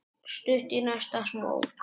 Stutt í næsta smók.